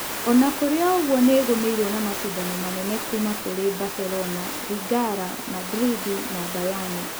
Onakũrĩoũguo nĩĩgũmĩirwo na macindano manene kuuma kũrĩ Baselona, Ringara, Madrindi, na Mbayani.